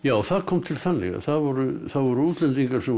það kom til þannig að það voru það voru útlendingar sem voru